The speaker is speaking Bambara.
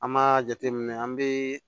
An b'a jateminɛ an bɛ